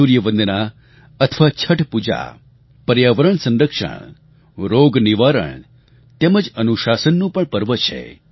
સૂર્ય વંદના અથવા છઠ પૂજા પર્યાવરણ સંરક્ષણ રોગ નિવારણ તેમજ અનુશાસનનું પણ પર્વ છે